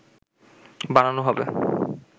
বানানো হবে